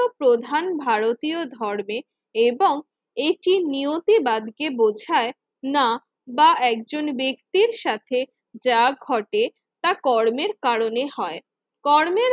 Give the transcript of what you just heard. প্রধান ভারতীয় ধর্মের এবং এটি নিয়তিবাদ কে বোঝায় না বা একজন ব্যক্তির সাথে যা ঘটে তা কর্মের কারণে হয়। কর্মের